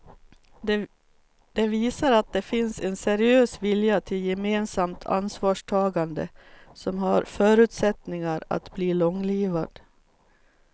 Det visar att det finns en seriös vilja till gemensamt ansvarstagande som har förutsättningar att bli långlivad.